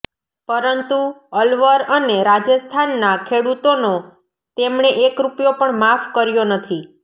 પરંતુ અલવર અને રાજસ્થાનના ખેડૂતોનો તેમણે એક રૂપિયો પણ માફ કર્યો નથી